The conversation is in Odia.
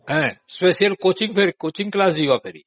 ହଁspecial coaching class ବି ଯିବେ ପୁଣି